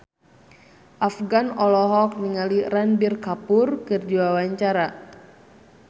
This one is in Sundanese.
Afgan olohok ningali Ranbir Kapoor keur diwawancara